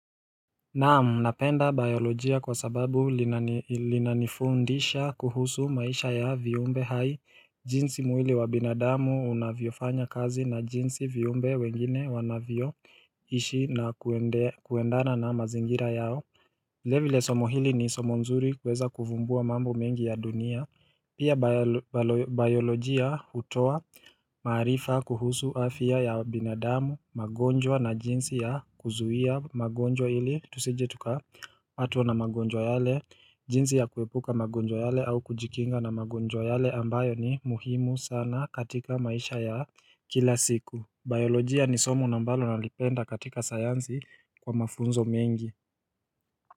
Naam napenda biolojia kwa sababu linanifundisha kuhusu maisha ya viumbe hai jinsi mwili wa binadamu unavyofanya kazi na jinsi viumbe wengine wanavyoishi na kuendana na mazingira yao vilevile somo hili ni somo nzuri kuweza kuvumbua mambo mengi ya dunia Pia biolojia hutoa maarifa kuhusu afya ya binadamu, magonjwa na jinsi ya kuzuia magonjwa ili Tusije tuka patwa na magonjwa yale, jinsi ya kuepuka magonjwa yale au kujikinga na magonjwa yale ambayo ni muhimu sana katika maisha ya kila siku. Biolojia ni somo ambalo nalipenda katika sayanzi kwa mafunzo mengi.